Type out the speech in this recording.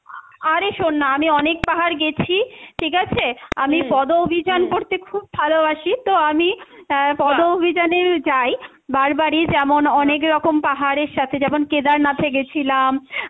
আরে শোন না, আমি অনেক পাহাড় গেছি, ঠিক আছে, আমি পদ অভিযান করতে খুব ভালোবাসি তো আমি অ্যাঁ পদ অভিযানে যাই, বারবারই যেমন অনেকরকম পাহাড়ের সাথে যেমন কেদারনাথে গেছিলাম,